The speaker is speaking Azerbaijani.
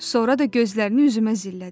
Sonra da gözlərini üzümə zillədi.